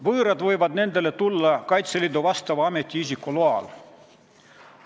Võõrad võivad nendele tulla Kaitseliidu vastava ametiisiku loal.